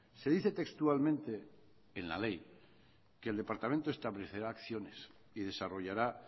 se dice textualmente en la ley que el departamento establecerá acciones y desarrollará